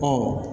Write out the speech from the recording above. Ɔ